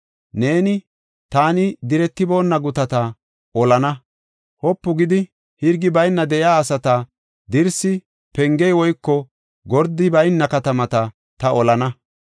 Neeni, ‘Taani diretiboonna gutata olana; wopu gidi, hirgi bayna de7iya asata, dirsi, pengey woyko gordey bayna katamata ta olana.